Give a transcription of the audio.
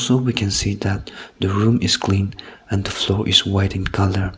so we can see that the room is clean and the floor iis white in colour.